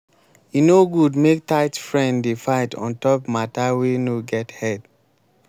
e no good make tight friend dey fight on top mata wey no get head.